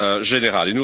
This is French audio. règlement